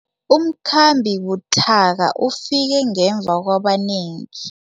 Umkhambi buthaka ufike ngemva kwabanengi.